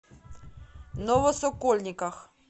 новосокольниках